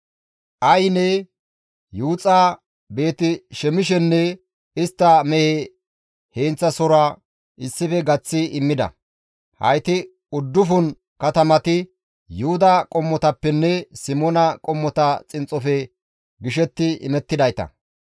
Ayine, Yuuxa, Beeti-Shemishenne istta mehe heenththasohora issife gaththi immida. Hayti uddufun katamati Yuhuda qommotappenne Simoona qommota xinxxofe gishetti imettidayta.